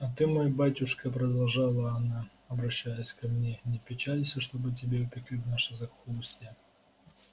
а ты мой батюшка продолжала она обращаясь ко мне не печалься чтобы тебя упекли в наше захолустье